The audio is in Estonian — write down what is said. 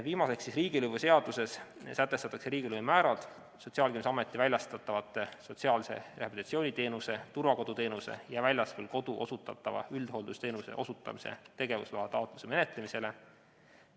Viimaseks, riigilõivuseaduses sätestatakse riigilõivumäärad Sotsiaalkindlustusameti väljastatavate sotsiaalse rehabilitatsiooni teenuse, turvakoduteenuse ja väljaspool kodu osutatava üldhooldusteenuse osutamise tegevusloa taotluse menetlemisele.